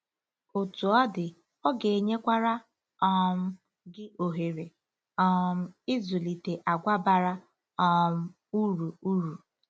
Otú ọ dị, ọ ga-enyekwara um gị ohere um ịzụlite àgwà bara um uru uru.